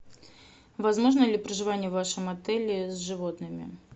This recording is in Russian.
возможно ли проживание в вашем отеле с животными